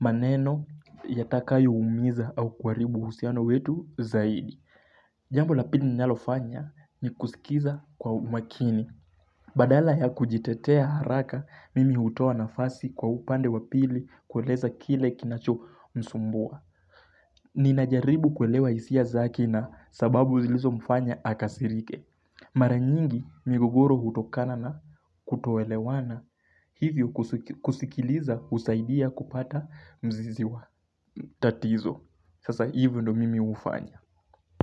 maneno yatakayo umiza au kuharibu husiano wetu zaidi. Jambo la pili nilalofanya ni kusikiza kwa umakini. Badala ya kujitetea haraka, mimi hutoa nafasi kwa upande wapili kueleza kile kinacho msumbua. Ninajaribu kuelewa hisia zake na sababu zilizomfanya akasirike. Mara nyingi migogoro hutokana na kutoelewana hivyo kusikiliza husaidia kupata mzizi wa tatizo. Sasa hivyo ndo mimi hufanya.